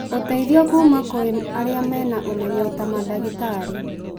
ũteithio kũma kwĩ arĩa mena ũmenyo ta mandagĩtarĩ,